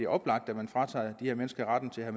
oplagt at man fratager de her mennesker retten til at